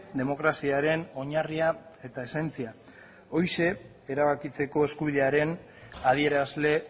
demokraziaren oinarria eta esentzia horixe erabakitzeko eskubidearen adierazle